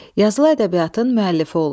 Yazılı ədəbiyyatın müəllifi olur.